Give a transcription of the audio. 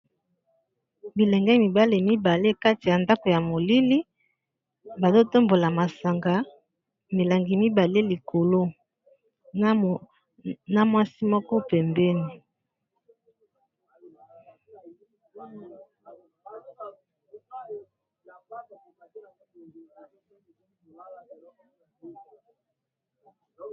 Bilenge mibale mibale kati ya ndako ya molili, bazo tambola masanga milangi mibale likolo na mwasi moko pembeni.